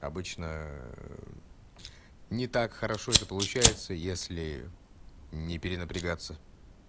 обычно не так хорошо это получается если не перенапрягаться